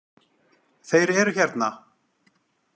Þeir eru hérna!